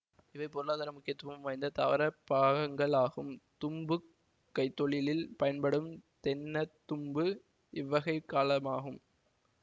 இவை பொருளாதார முக்கியத்துவம் வாய்ந்த தாவரப் பாகங்களாகும் தும்புக் கைத்தொழிலில் பயன்படும் தென்னந்தும்பு இவ்வகைக் காலமாகும்